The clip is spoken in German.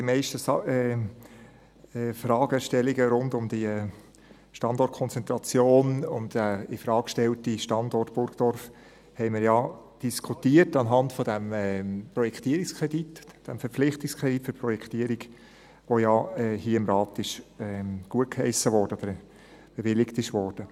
Die meisten Fragestellungen rund um die Standortkonzentration und den infrage gestellten Standort Burgdorf haben wir ja anhand des Projektierungskredits, des Verpflichtungskredits für die Projektierung diskutiert, der ja hier im Rat gutgeheissen oder bewilligt wurde.